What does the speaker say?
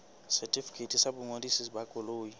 setefikeiti sa boingodiso ba koloi